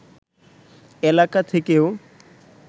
এলাকা থেকেও